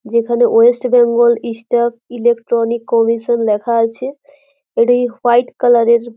যেখানে West Bengal staff electronic commission লেখা আছে। এটি হোয়াইট কালার এর।